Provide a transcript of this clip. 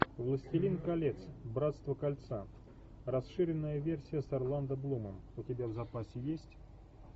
властелин колец братство кольца расширенная версия с орландо блумом у тебя в запасе есть